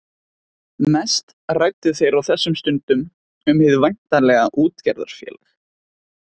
Mest ræddu þeir á þessum stundum um hið væntanlega útgerðarfélag.